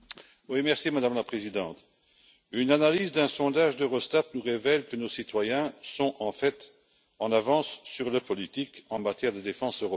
Madame la Présidente, une analyse d'un sondage d'Eurostat nous révèle que nos citoyens sont en fait en avance sur le politique en matière de défense européenne.